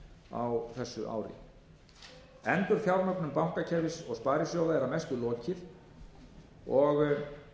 á þessu ári endurfjármögnun bankakerfis og sparisjóða er að mestu lokið og